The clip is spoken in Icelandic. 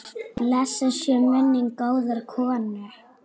Blessuð sé minning góðrar konu.